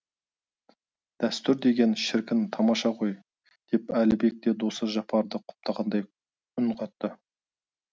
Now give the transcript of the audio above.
дәстүр деген шіркін тамаша ғой деп әлібек те досы жапарды құптағандай үн қатты